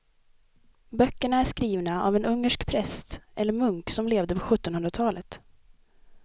Böckerna är skrivna av en ungersk präst eller munk som levde på sjuttonhundratalet.